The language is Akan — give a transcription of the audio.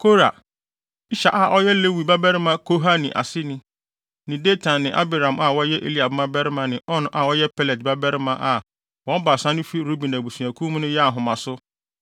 Kora, Ishar a ɔyɛ Lewi babarima Kohat aseni ne Datan ne Abiram a wɔyɛ Eliab mmabarima ne On a ɔyɛ Pelet babarima a wɔn baasa no fi Ruben abusuakuw mu no yɛɛ ahomaso